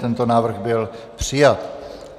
Tento návrh byl přijat.